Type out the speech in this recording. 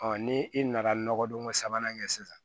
ni i nana nɔgɔdon ko sabanan kɛ sisan